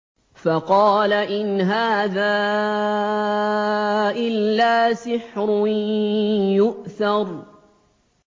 فَقَالَ إِنْ هَٰذَا إِلَّا سِحْرٌ يُؤْثَرُ